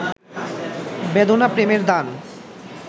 বেদনা প্রেমের দান